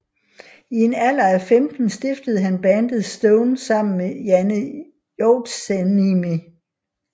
I en alder af 15 stiftede han bandet Stone sammen med Janne Joutsenniemi